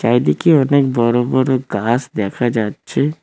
এদিকে অনেক বড় বড় গাছ দেখা যাচ্ছে।